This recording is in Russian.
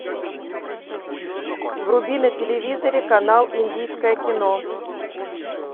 вруби на телевизоре канал индийское кино